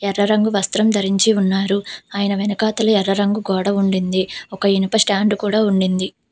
ఎర్ర రంగు వస్త్రం ధరించి ఉన్నారు ఆయన వెనకాతలి ఎర్ర రంగు గోడ ఉండింది ఒక ఇనుప స్టాండ్ కూడా ఉండింది.